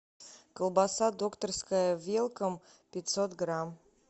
колбаса докторская велком пятьсот грамм